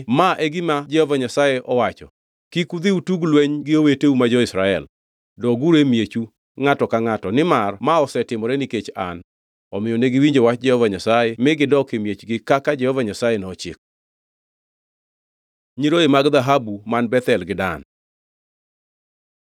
‘Ma e gima Jehova Nyasaye owacho: Kik udhi utug lweny gi oweteu ma jo-Israel. Doguru e miechu, ngʼato ka ngʼato, nimar ma osetimore nikech an.’ ” Omiyo negiwinjo wach Jehova Nyasaye mi gidok e miechgi kaka Jehova Nyasaye nochiko. Nyiroye mag dhahabu man Bethel gi Dan